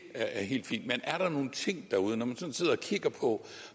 er helt fint men er der nogen ting derude når man sådan sidder og kigger på